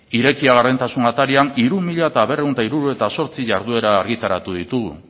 irekia gardentasun atarian hiru mila berrehun eta hirurogeita zortzi jarduera argitaratu ditugu